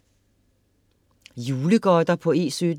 Julegodter på E17